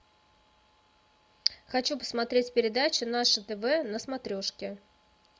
хочу посмотреть передачу наше тв на смотрешке